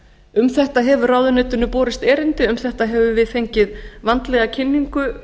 um þetta hefur ráðuneytinu borist erindi um þetta höfum við fengið vandlega kynningu